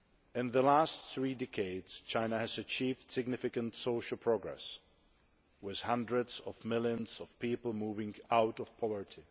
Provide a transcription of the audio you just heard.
In the last three decades China has achieved significant social progress, with hundreds of millions of people moving out of poverty.